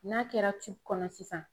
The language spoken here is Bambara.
N'a kɛra kɔnɔ sisan